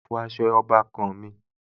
Mo fọ aṣọ ọbàkan-àn mi